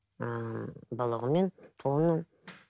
ыыы бала күнімнен туғанымнан